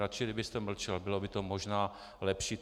Radši kdybyste mlčel, bylo by to možná lepší.